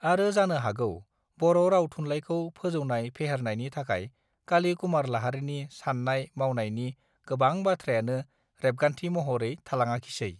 आरो जानो हागौ बर राव थुनलाइखौ फोजौनाय फेहेरनायनि थाखाय काली कुमार लाहारीनि साननाय मावनायनि गोबां बाथ्रायानो रेबगान्थि महरै थालाङाखिसै